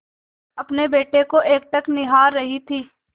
अपने बेटे को एकटक निहार रही थी